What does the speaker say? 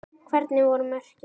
Hvernig voru mörkin?